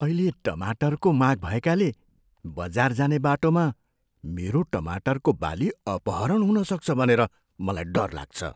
अहिले टमाटरको माग भएकाले बजार जाने बाटोमा मेरो टमाटरको बाली अपहरण हुन सक्छ भनेर मलाई डर लाग्छ।